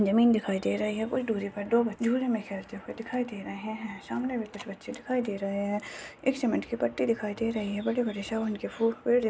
जमीन दिखाई दे रही है कुछ दूरी पर दो बच्चे झूले में खेलते हुए दिखाई दे रहे है सामने में कुछ बच्चे दिखाई दे रहे है एक सीमेन्ट की पट्टी दिखाई दे रही है बड़े-बड़े शवन के फूल पेड़ --